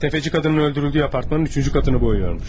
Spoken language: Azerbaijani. Təfəci qadının öldürüldüyü apartmanın üçüncü katını boyuyormuş.